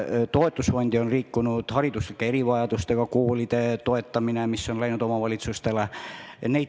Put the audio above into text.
Toetusfondi on liikunud hariduslike erivajadustega laste koolide toetamine, mis on läinud omavalitsustele.